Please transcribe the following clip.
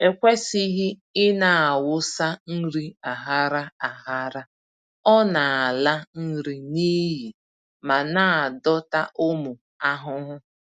E kwesịghị ịnawụsa nri aghara aghara, ọ-nala nri n'iyi ma na-adọta ụmụ ahụhụ.